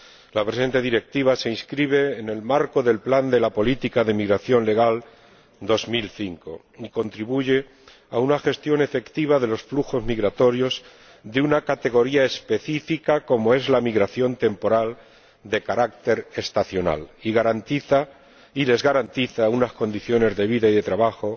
La presente Directiva se inscribe en el marco del Plan de política en materia de migración legal de 2005 y contribuye a una gestión efectiva de los flujos migratorios de una categoría específica como es la migración temporal de carácter estacional, y les garantiza unas condiciones de vida y de trabajo